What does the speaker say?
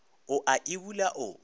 o a e bula o